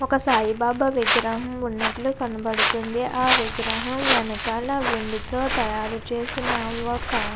వక సాయి బాబా విగ్రహము కనపడుతునది. హ విగ్రహము వెనకాల వక వేడి తో తయారు చేసిన ఒక --